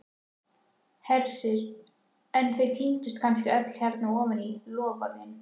Hersir: en þau týndust kannski öll hérna ofan í, loforðin?